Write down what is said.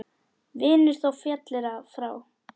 Vinur þó féllir frá.